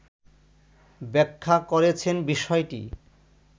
ব্যাখা করেছেন বিষয়টি